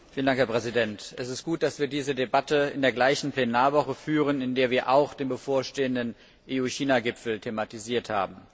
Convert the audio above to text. Herr Präsident! Es ist gut, dass wir diese Debatte in derselben Plenarwoche führen, in der wir auch den bevorstehenden EU China Gipfel thematisiert haben.